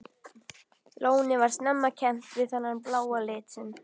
Lónið var snemma kennt við þennan bláa lit sinn.